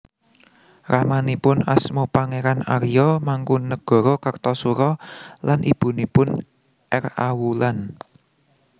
Ramanipun asma Pangeran Arya Mangkunagara Kartasura lan ibunipun R A Wulan